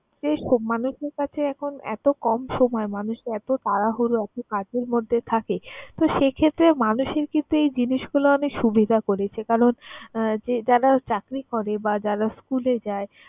এরকম মানুষের কাছে এখন এত কম সময় মানুষ এত তাড়াহুড়ো, এত কাজের মধ্যে থাকে তো সে ক্ষেত্রে মানুষের কিন্তু এই জিনিসগুলা অনেক সুবিধা করেছে। কারণ যারা চাকরি করে বা যারা school এ যায়